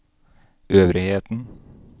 øvrigheten